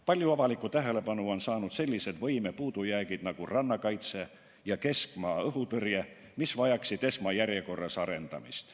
Palju avalikku tähelepanu on saanud sellised võime puudujäägid nagu rannakaitse ja keskmaa-õhutõrje, mis vajaksid esmajärjekorras arendamist.